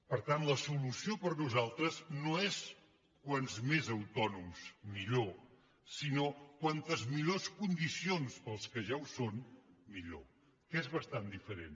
per tant la solució per nosaltres no és com més autònoms millor sinó com millors condicions per als que ja ho són millor que és bastant diferent